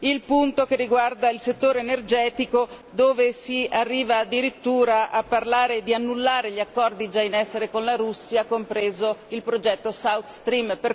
il punto che riguarda il settore energetico, dove si arriva addirittura a parlare di annullare gli accordi già in essere con la Russia, compreso il progetto South Stream.